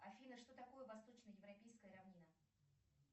афина что такое восточно европейская равнина